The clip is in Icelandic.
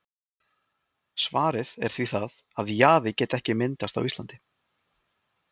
Svarið er því það, að jaði geti ekki myndast á Íslandi.